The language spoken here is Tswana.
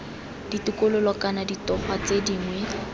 ditokololo kana ditogwa tse dingwe